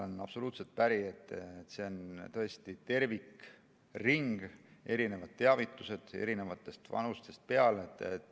Ma olen absoluutselt päri, et see on tõesti tervikring, erinevad teavitused eri vanusest peale.